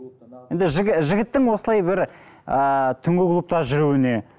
енді жігіттің осылай бір ыыы түнгі клубта жүруіне